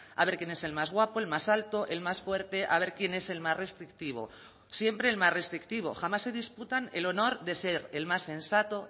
a ver quién es el más guapo el más alto el más fuerte a ver quién es el más restrictivo siempre el más restrictivo jamás se disputan el honor de ser el más sensato